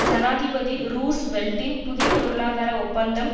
ஜனாதிபதி ரூஸ்வெல்ட்டின் புதிய பொருளாதார ஒப்பந்தம்